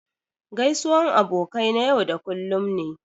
Gaisuwan abokai na yau da kullum ne.